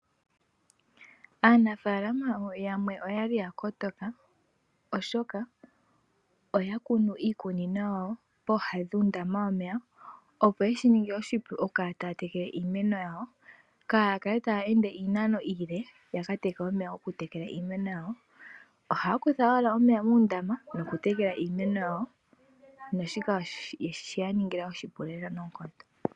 Aanafaalama yamwe oyali ya kotoka oshoka oya kunu iikunino yawo pooha dhuundama yomeya, opo yeshi ninge oshipu okukala taa tekele iimeno yawo, kaaya kale taa ende iinano iile ya ka teke omeya okutekela iimeno yawo. Ohaa kutha owala omeya muundama nokutekela iimeno yawo, naashika oshe ya ningila oshipu noonkondo.